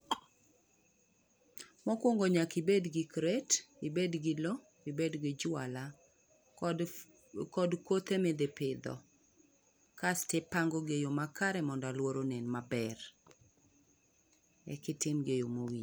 Mokwongo nyaka ibed gi kret, ibed gi lo ibed gi jwala kod kod kothe midhi pidho. Kas tipangogi eyo makare mondo aluora onen maber. Ekitimgi eyo mowinjore..